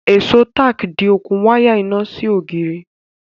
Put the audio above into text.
èso tack di okùn waya iná sí ògiri